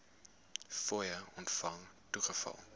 fooie ontvang toegeval